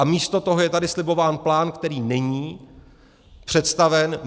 A místo toho je tady slibován plán, který není představen.